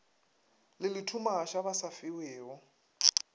le lethumaša ba sa fiwego